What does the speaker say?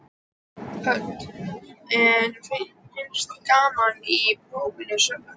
Hödd: En finnst þér gaman í prófinu sjálfu?